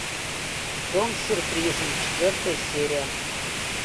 дом с сюрпризом четвертая серия